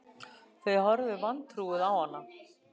Þau horfðu vantrúuð á hana